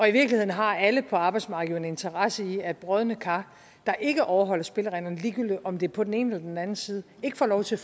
i virkeligheden har alle på arbejdsmarkedet jo en interesse i at brodne kar der ikke overholder spillereglerne ligegyldigt om det er på den ene eller den anden side ikke får lov til